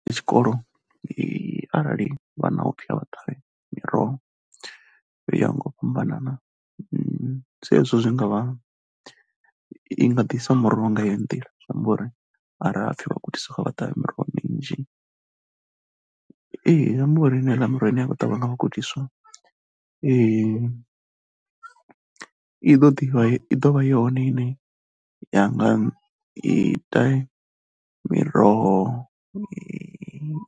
Ndi tshikolo arali vhana u ho pfhi vha ṱavhe miroho u ya ngo u fhambanana sa izwo zwi nga vha i nga ḓisa muroho nga yo nḓila ngori arali ha pfi vhagudiswa kha vha ṱavhe miroho minzhi. Ee zwi amba eneiḽa miroho ine ya khou ṱavhiwa nga vhagudiswa i ḓo ḓivha, i ḓo vha yone ine ya nga ita miroho